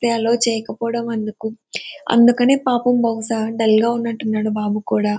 Allow చేయకపోడం అందుకు అందుకనే పాపం బహుశా డల్ గా ఉన్నట్టున్నాడు బాబు కూడా.